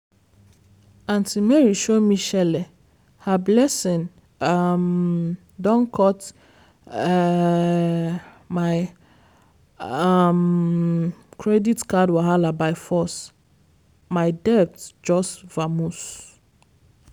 aunty mary show me shele her blessing um don cut um my um credit card wahala by force my debt just vamoose.